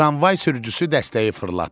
Tramvay sürücüsü dəstəyi fırlatdı.